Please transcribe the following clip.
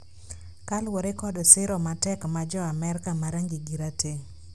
kaluwore kod siro matek ma jo Amerka ma rangigi rateng'.